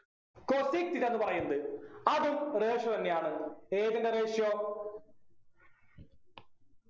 cosec theta ന്നു പറയുന്നത് അതും ratio തന്നെയാണ് ഏതിൻ്റെ ratio